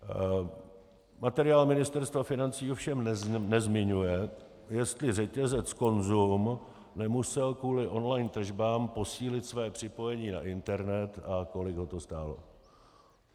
Materiál Ministerstva financí ovšem nezmiňuje, jestli řetězec Konzum nemusel kvůli online tržbám posílit své připojení na internet a kolik ho to stálo.